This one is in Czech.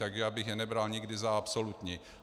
Tak já bych je nebral nikdy za absolutní.